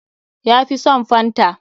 Ya fi son fanta.